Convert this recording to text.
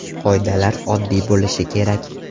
Qoidalar oddiy bo‘lishi kerak.